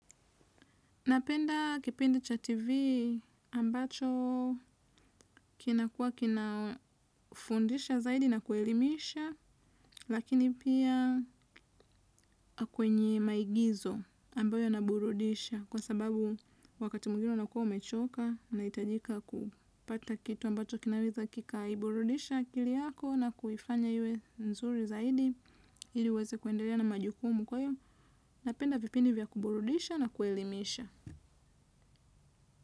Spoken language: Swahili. Napenda kipindi cha TV ambacho kinakua kina fundisha zaidi na kuelimisha lakini pia kwenye maigizo ambayo yanaburudisha kwa sababu wakati mwingine unakuwa umechoka unahitajika kupata kitu ambacho kinaweza kika iburudisha akili yako na kuifanya iwe nzuri zaidi. Ili uweze kuendelea na majukumu kwayo. Napenda vipindi vya kuburudisha na kuelimisha.